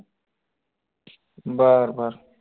बर बर